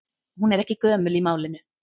Hún er ekki gömul í málinu.